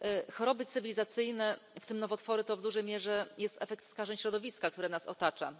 Choroby cywilizacyjne, w tym nowotwory, to w dużej mierze jest efekt skażeń środowiska, które nas otacza.